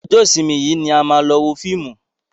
Ọjọ́ ìsinmi yìí ni a máa lọ wo fíìmù.